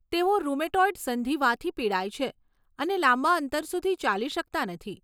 તેઓ રુમેટોઇડ સંધિવાથી પીડાય છે અને લાંબા અંતર સુધી ચાલી શકતાં નથી.